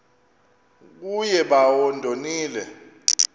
kuye bawo ndonile